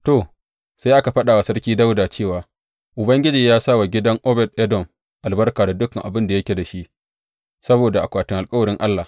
To, sai aka faɗa wa Sarki Dawuda cewa, Ubangiji ya sa wa gidan Obed Edom albarka da dukan abin da yake da shi, saboda akwatin alkawarin Allah.